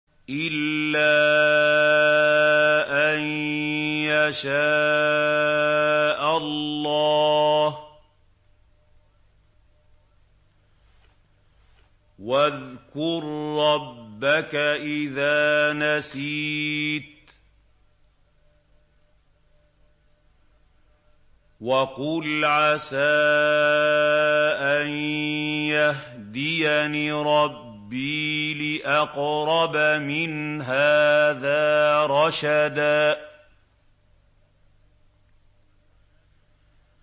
إِلَّا أَن يَشَاءَ اللَّهُ ۚ وَاذْكُر رَّبَّكَ إِذَا نَسِيتَ وَقُلْ عَسَىٰ أَن يَهْدِيَنِ رَبِّي لِأَقْرَبَ مِنْ هَٰذَا رَشَدًا